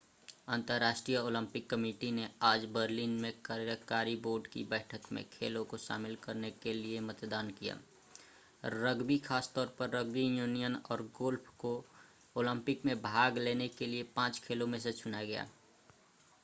अंतर्राष्ट्रीय Olympic committee ने आज बर्लिन में कार्यकारी बोर्ड की बैठक में खेलों को शामिल करने के लिए मतदान किया रग्बी खास तौर पर रग्बी यूनियन और गोल्फ़ को ओलंपिक में भाग लेने के लिए पांच खेलों में से चुना गया